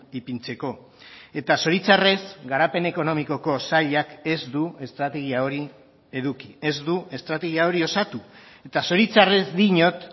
ipintzeko eta zoritxarrez garapen ekonomikoko sailak ez du estrategia hori eduki ez du estrategia hori osatu eta zoritxarrez diot